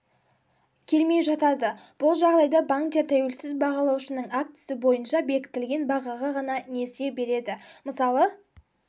келмей жатады бұл жағдайда банктер тәуелсіз бағалаушының актісі бойынша бекітілген бағаға ғана несие береді мысалы